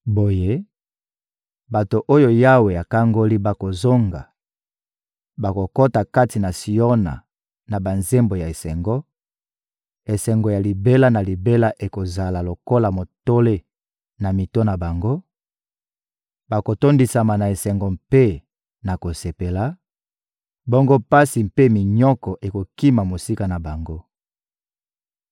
Boye, bato oyo Yawe akangoli bakozonga, bakokota kati na Siona na banzembo ya esengo; esengo ya libela na libela ekozala lokola motole na mito na bango; bakotondisama na esengo mpe na kosepela, bongo pasi mpe minyoko ekokima mosika na bango.